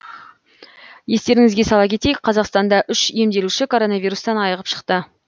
естеріңізге сала кетейік қазақстанда үш емделуші коронавирустан айығып шықты